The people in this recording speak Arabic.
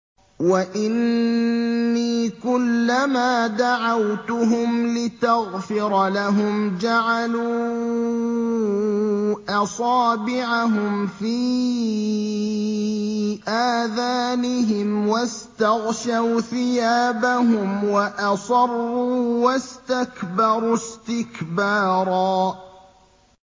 وَإِنِّي كُلَّمَا دَعَوْتُهُمْ لِتَغْفِرَ لَهُمْ جَعَلُوا أَصَابِعَهُمْ فِي آذَانِهِمْ وَاسْتَغْشَوْا ثِيَابَهُمْ وَأَصَرُّوا وَاسْتَكْبَرُوا اسْتِكْبَارًا